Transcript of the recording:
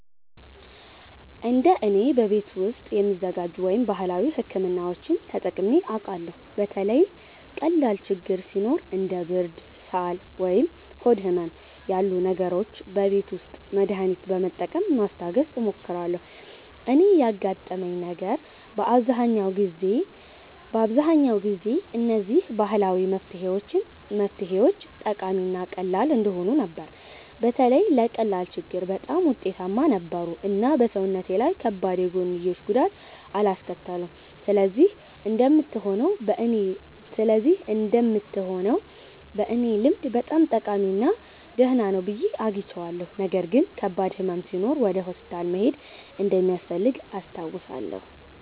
እንደ እኔ፣ በቤት ውስጥ የሚዘጋጁ ወይም ባህላዊ ሕክምናዎችን ተጠቅሜ አውቃለሁ። በተለይ ቀላል ችግኝ ሲኖር እንደ ብርድ፣ ሳል ወይም ሆድ ህመም ያሉ ነገሮች በቤት ውስጥ መድሃኒት በመጠቀም ማስታገስ እሞክራለሁ። እኔ ያጋጠመኝ ነገር በአብዛኛው ጊዜ እነዚህ ባህላዊ መፍትሄዎች ጠቃሚ እና ቀላል እንደሆኑ ነበር። በተለይ ለቀላል ችግኝ በጣም ውጤታማ ነበሩ እና በሰውነቴ ላይ ከባድ የጎንዮሽ ጉዳት አላስከተሉም። ስለዚህ እንደምትሆነው በእኔ ልምድ በጣም ጠቃሚ እና ደህና ነው ብዬ አግኝቼዋለሁ። ነገር ግን ከባድ ሕመም ሲኖር ወደ ሆስፒታል መሄድ እንደሚያስፈልግ አስታውሳለሁ።